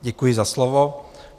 Děkuji za slovo.